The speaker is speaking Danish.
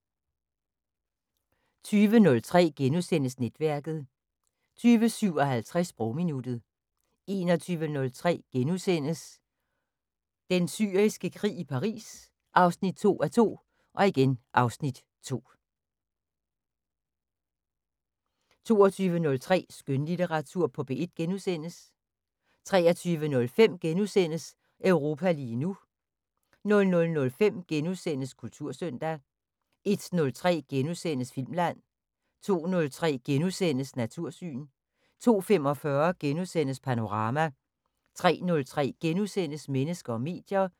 20:03: Netværket * 20:57: Sprogminuttet 21:03: Den Syriske Krig – i Paris 2:2 (Afs. 2)* 22:03: Skønlitteratur på P1 * 23:05: Europa lige nu * 00:05: Kultursøndag * 01:03: Filmland * 02:03: Natursyn * 02:45: Panorama * 03:03: Mennesker og medier *